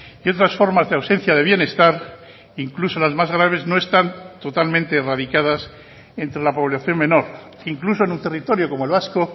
y otras formas de ausencia de bienestar incluso las más graves no están totalmente erradicadas entre la población menor incluso en un territorio como el vasco